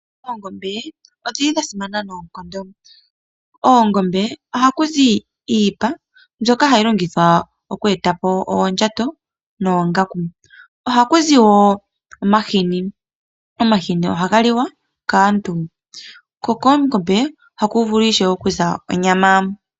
Oongombe odhili dhasimana noonkondo. Koongombe ohakuzi iipa mbyoka hayi longithwa oku etapo oondjato noongaku. Ohakuzi woo omahini, omahini ohaga liwa kaantu ko koongombe ohaku vulu ishewe okuza onyama.